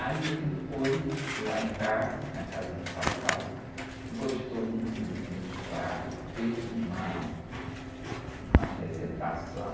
Aí ele foi lá em casa, na casa de papai, gostou muito dos meus quadros, fez uma , uma apresentação.